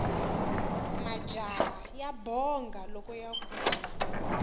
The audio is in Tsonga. majaha ya bonga loko ya kula